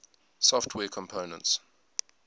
software components